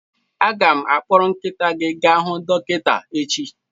Aga m akpọrọ nkịta gị gaa hu dọkịta echi